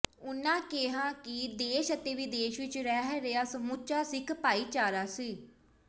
ਉਨ੍ਹਾਂ ਕਿਹਾ ਕਿ ਦੇਸ਼ ਅਤੇ ਵਿਦੇਸ਼ ਵਿੱਚ ਰਹਿ ਰਿਹਾ ਸਮੁੱਚਾ ਸਿੱਖ ਭਾਈਚਾਰਾ ਸ